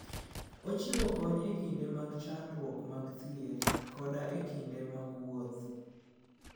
Ochiwo kony e kinde mag chandruok mag thieth koda e kinde mag wuoth.